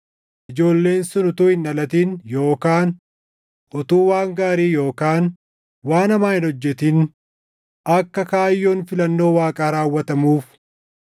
ijoolleen sun utuu hin dhalatin yookaan utuu waan gaarii yookaan waan hamaa hin hojjetin akka kaayyoon filannoo Waaqaa raawwatamuuf,